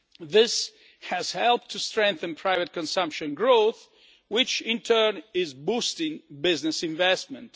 This has helped to strengthen private consumption growth, which in turn is boosting business investment.